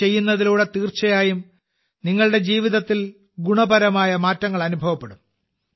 ഇത് ചെയ്യുന്നതിലൂടെ തീർച്ചയായും നിങ്ങളുടെ ജീവിതത്തിൽ ഗുണപരമായ മാറ്റങ്ങൾ അനുഭവപ്പെടും